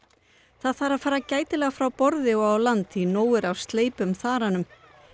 það þarf að fara gætilega frá borði og á land því nóg er af sleipum þaranum